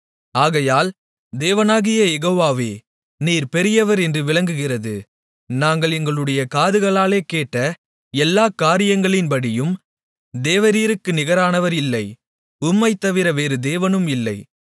ஆகையால் தேவனாகிய யெகோவாவே நீர் பெரியவர் என்று விளங்குகிறது நாங்கள் எங்களுடைய காதுகளாலே கேட்ட எல்லா காரியங்களின்படியும் தேவரீருக்கு நிகரானவர் இல்லை உம்மைத்தவிர வேறு தேவனும் இல்லை